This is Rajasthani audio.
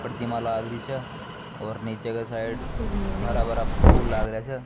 प्रतिमा लागरी छ और नीचे की साइड हरा भरा फूल लाग रा छ।